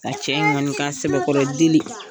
A cɛ in kɔni k'a sɛbɛkɔrɔ deli.